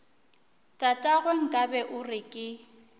tatagwe nkabe o re ke